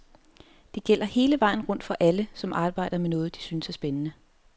Det gælder hele vejen rundt for alle, som arbejder med noget, de synes er spændende.